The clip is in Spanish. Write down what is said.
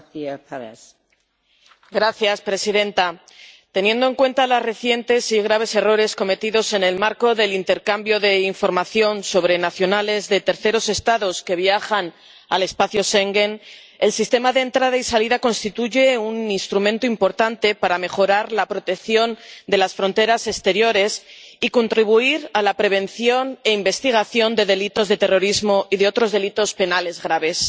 Señora presidenta, teniendo en cuenta los recientes y graves errores cometidos en el marco del intercambio de información sobre nacionales de terceros Estados que viajan al espacio Schengen, el Sistema de Entradas y Salidas constituye un instrumento importante para mejorar la protección de las fronteras exteriores y contribuir a la prevención e investigación de delitos de terrorismo y de otros delitos penales graves.